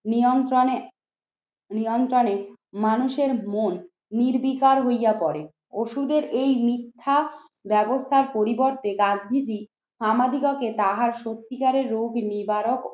নিয়ন্ত্রণে নিয়ন্ত্রণে মানুষের মন নির্বিকার হইয়া পরে। ওষুধের এই মিথ্যা ব্যবস্থার পরিবর্তে রাজনীতি আমাদিগকে তাহার সত্যিকারের রোগ নিবারক